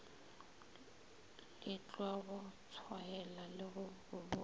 letlwago tshwaela le go botsa